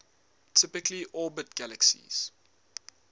typically orbit galaxies